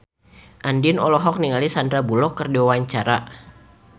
Andien olohok ningali Sandar Bullock keur diwawancara